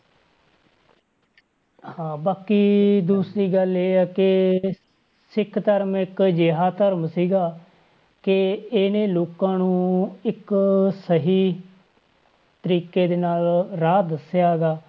ਹਾਂ ਬਾਕੀ ਦੂਸਰੀ ਗੱਲ ਇਹ ਆ ਕਿ ਸਿੱਖ ਧਰਮ ਇੱਕ ਅਜਿਹਾ ਧਰਮ ਸੀਗਾ ਕਿ ਇਹਨੇ ਲੋਕਾਂ ਨੂੰ ਇੱਕ ਸਹੀ ਤਰੀਕੇ ਦੇ ਨਾਲ ਰਾਹ ਦੱਸਿਆ ਹੈਗਾ,